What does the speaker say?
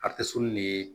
ne ye